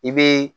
I bɛ